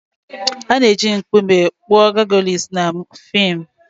A na-eji nkume kpụrụ Gargoyles na fim.